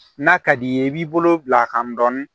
N'a ka d'i ye i b'i bolo bila a kan dɔɔnin